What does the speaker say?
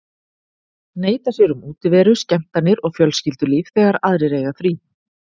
Neita sér um útiveru, skemmtanir og fjölskyldulíf þegar aðrir eiga frí.